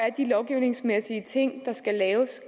er de lovgivningsmæssige ting der skal laves